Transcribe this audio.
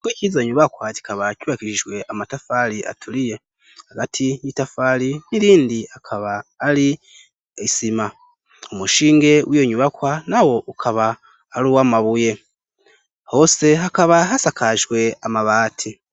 Uko iciza nyubakwa kikaba kubakishishwe amatafari aturiye hagati y'itafari n'irindi akaba ari isima umushinge wiyo nyubakwa na wo ukaba ari uwo amabuye hose hakaba hasakajhwe amabati.